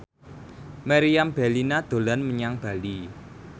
Meriam Bellina dolan menyang Bali